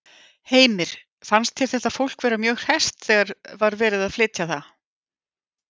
Heimir: Fannst þér þetta fólk vera mjög hresst þegar að var verið að flytja það?